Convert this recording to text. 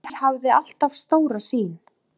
Þórir hafði alltaf stóra sýn.